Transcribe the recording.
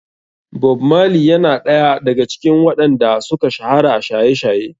Bob marley yana ɗaya daga cikin waɗan da suka shahara a shaye-shaye.